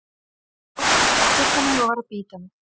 Fólk reyndi að kyssa mig og var að bíta mig.